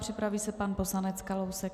Připraví se pan poslanec Kalousek.